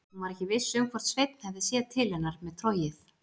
Hún var ekki viss um hvort Sveinn hefði séð til hennar með trogið.